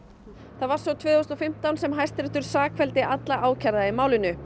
það var svo tvö þúsund og fimmtán sem Hæstiréttur sakfelldi alla ákærðu í málinu